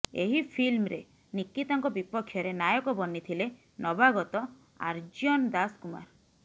ଏହି ଫିଲ୍ମରେ ନିକିତାଙ୍କ ବିପକ୍ଷରେ ନାୟକ ବନିଥିଲେ ନବାଗତ ଆର୍ଯ୍ୟନ ଦାଶ କୁମାର